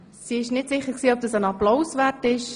Sie war nicht sicher, ob dies einen Applaus wert sei.